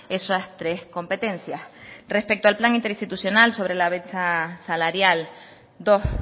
esas tres competencias respecto al plan interinstitucional sobre la brecha salarial dos